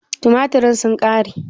Tumaturen sun ƙare?